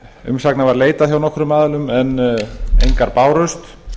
umsagna var leitað hjá nokkrum aðilum en engar bárust